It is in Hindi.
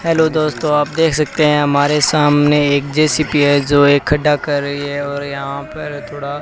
हैलो दोस्तो आप देख सकते हैं हमारे सामने एक जे_सी_बी है जो एक खड्डा कर रही है और यहां पर थोड़ा --